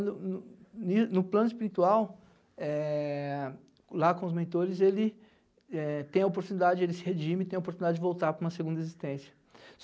No no no plano espiritual, é... Lá com os mentores, ele é... Tem a oportunidade, ele se redime, tem a oportunidade de voltar para uma segunda existência.